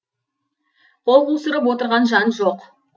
қол қусырып отырған жан жоқ